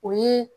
O ye